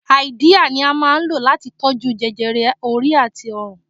Háídíà ni à ń lò láti tó jú jẹjẹrẹ orí àti ọrùn